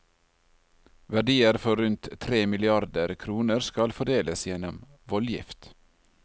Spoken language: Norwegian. Verdier for rundt tre milliarder kroner skal fordeles gjennom voldgift.